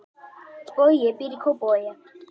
Bogi býr í Kópavogi.